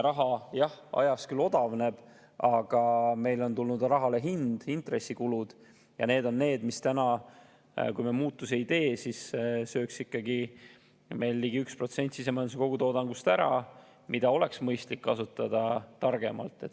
Raha, jah, ajas küll odavneb, aga meil on tulnud rahale hind, intressikulud, ja need on need, mis täna, kui me muutusi ei tee, sööks meil ligi 1% sisemajanduse kogutoodangust ära, mida oleks mõistlik kasutada targemalt.